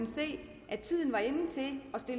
så er det